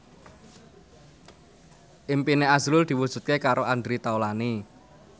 impine azrul diwujudke karo Andre Taulany